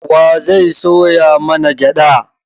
Wa zai soya mana gyaɗa?